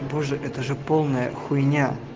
боже это же полная хуйня